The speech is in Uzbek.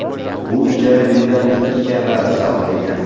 Bu ijara uyidan ikki karra arzon degani.